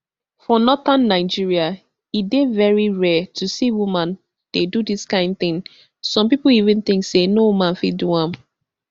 for northern nigeria e dey very rare to see woman dey do dis kain tin some pipo even think say no woman fit do am